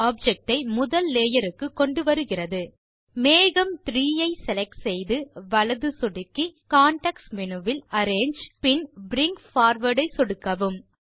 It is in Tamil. ஆப்ஜெக்ட் ஐ முதல் லேயர் க்கு கொண்டு வருகிறது மேகம் 3 ஐ செலக்ட் செய்து வலது சொடுக்கி அரேஞ்சு பின் பிரிங் பார்வார்ட் ஐ சொடுக்கவும்